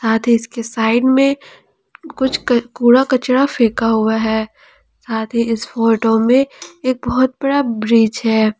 आधे इसके साइड में कुछ क कूड़ा कचरा फेंका हुआ है साथ ही इस फोटो में एक बहुत बड़ा ब्रिज है।